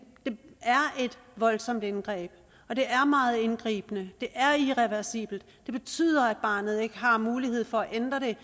voldsomt indgreb det er meget indgribende det er irreversibelt og det betyder at barnet ikke har mulighed for at ændre det